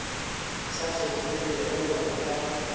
sa kgethollego go ya ka